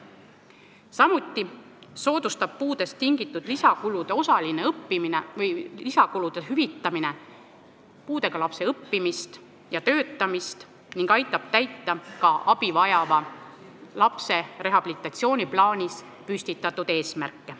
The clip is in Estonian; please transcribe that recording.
Samuti soodustab puudest tingitud lisakulude hüvitamine puudega lapse õppimist ja töötamist ning aitab täita ka abi vajava lapse rehabilitatsiooniplaanis püstitatud eesmärke.